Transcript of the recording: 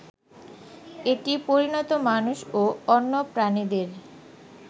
এটি পরিণত মানুষ ও অন্য প্রাণীদের